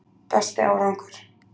Besti árangur: